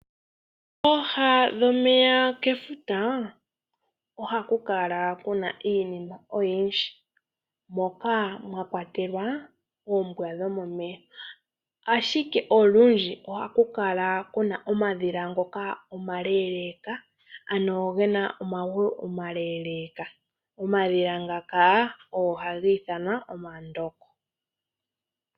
Pooha dhomeya kefuta, ohaku kala kuna iinima oyindji, moka mwa kwatelwa oombwa dhomomeya. Ashike olundji ohaku kala kuna omadhila ngoka omaleeleka, ano gena omagulu omaleeleka. Omadhila ngaka ohaga ithanwa omandongo.